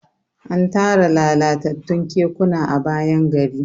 an Tara lalatattun kekuna a bayan gari